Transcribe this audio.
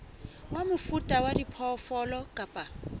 wa mofuta wa diphoofolo kapa